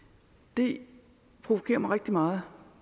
det provokerer mig rigtig meget